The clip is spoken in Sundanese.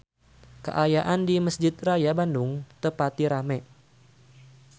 Kaayaan di Mesjid Raya Bandung teu pati rame